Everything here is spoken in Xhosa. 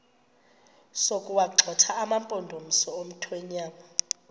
sokuwagxotha amampondomise omthonvama